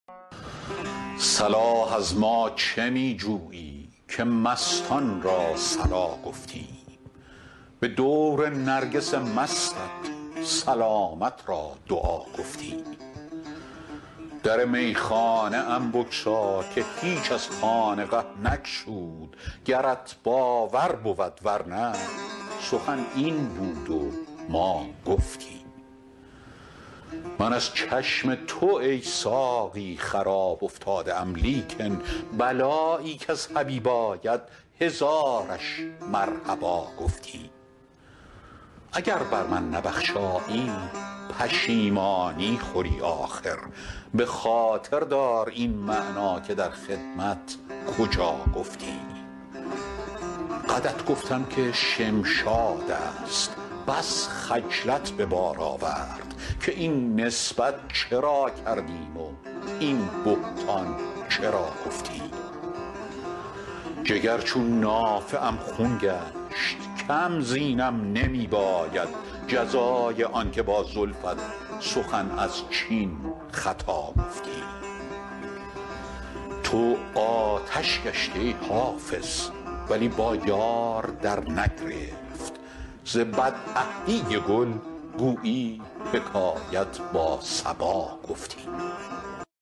صلاح از ما چه می جویی که مستان را صلا گفتیم به دور نرگس مستت سلامت را دعا گفتیم در میخانه ام بگشا که هیچ از خانقه نگشود گرت باور بود ور نه سخن این بود و ما گفتیم من از چشم تو ای ساقی خراب افتاده ام لیکن بلایی کز حبیب آید هزارش مرحبا گفتیم اگر بر من نبخشایی پشیمانی خوری آخر به خاطر دار این معنی که در خدمت کجا گفتیم قدت گفتم که شمشاد است بس خجلت به بار آورد که این نسبت چرا کردیم و این بهتان چرا گفتیم جگر چون نافه ام خون گشت کم زینم نمی باید جزای آن که با زلفت سخن از چین خطا گفتیم تو آتش گشتی ای حافظ ولی با یار درنگرفت ز بدعهدی گل گویی حکایت با صبا گفتیم